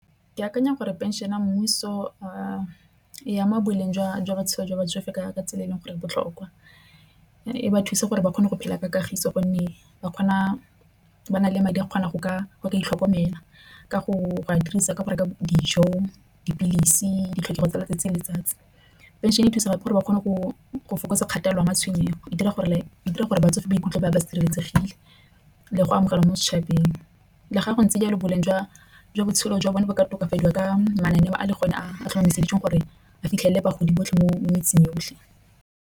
Ke akanya gore phenšene ya mmuso a e ama boleng jwa matshelo a batsofe ka tsela e leng gore e botlhokwa. E ba thusa gore ba kgone go phela ka kagiso gonne ba kgona ba na le madi a kgona go ka go ka itlhokomela. Ka go a dirisa ka go reka dijo, dipilisi ditlhokego tsa letsatsi le letsatsi. Phenšene e thusa gape gore ba kgone go fokotsa kgatelelo ya matshwenyego e dira gore e dira gore batsofe ba ikutlwa ba sireletsegile le go amogela mo setšhabeng. Le fa go ntse jalo boleng jwa botshelo jwa bone ba ka tokafadiwa ka mananeo a le gone a tlhomamiseditsweng gore a fitlhelele bagodi botlhe mo metseng yotlhe.